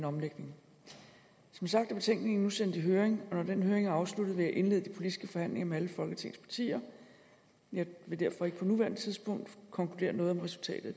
omlægning som sagt er betænkningen nu sendt i høring og når den høring er afsluttet vil jeg indlede de politiske forhandlinger med alle folketingets partier jeg vil derfor ikke på nuværende tidspunkt konkludere noget om resultatet